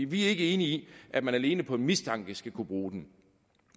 vi er ikke enige i at man alene på en mistanke skal kunne bruge dem